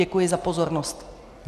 Děkuji za pozornost.